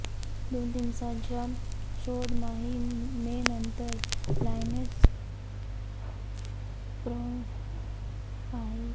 दोन दिवसांच्या शोध मोहिमेनंतर लायन्स पॉईंटच्या दरीमध्ये रविवारी तिचा मृतदेह आढळला